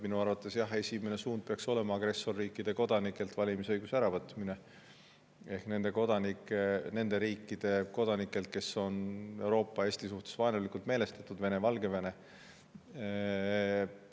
Minu arvates, jah, esimene suund peaks olema agressorriikide kodanikelt – ehk nende riikide kodanikelt, kes on Euroopa ja Eesti suhtes vaenulikult meelestatud: Vene, Valgevene – valimisõiguse äravõtmine.